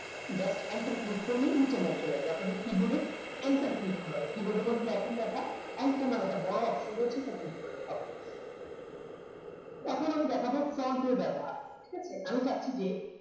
ব্যাস enter click করলেই নিচের line চলে আসবে আপনাদের keyboard এ enter keyboard এর মধ্যে এখন দেখা বোরো options রয়েছে সেটা click এখন আমি দেখাবো front এর ব্যাপার ঠিক আছে আমি চাচ্ছি যে